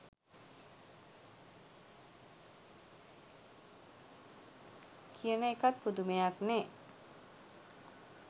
කියන එකත් පුදුමයක්නේ.